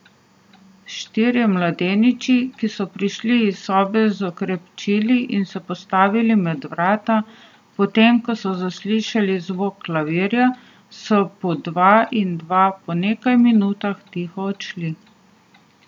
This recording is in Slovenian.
Štirje mladeniči, ki so prišli iz sobe z okrepčili in se postavili med vrata, potem ko so zaslišali zvok klavirja, so po dva in dva po nekaj minutah tiho odšli.